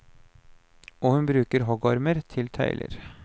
Og hun bruker huggormer til tøyler.